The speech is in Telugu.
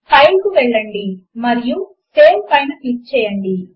ఫైల్ కు వెళ్ళండి మరియు సేవ్ పైన క్లిక్ చేయండి